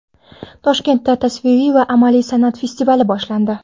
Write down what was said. Toshkentda tasviriy va amaliy san’at festivali boshlandi.